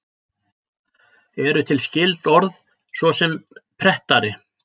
Eru til skyld orð, svo sem prettari?